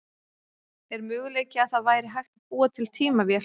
Er möguleiki að það væri hægt að búa til tímavél?